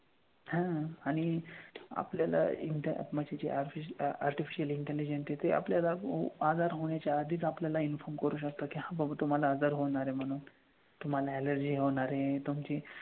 हा आणि आपल्याला एकदा म्हणजे जे अर्शीफिशिअल artificial intelligent आहेत ते आपल्याला आजार होण्याच्या आधीच आपल्याला inform करू शकतं की हां बाबा तुम्हाला आजार होणार आहे म्हणून. तुम्हाला allergy होणार आहे, तुमची,